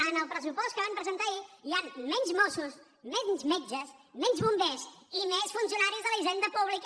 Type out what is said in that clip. en el pressupost que van presentar ahir hi han menys mossos menys metges menys bombers i més funcionaris de la hisenda pública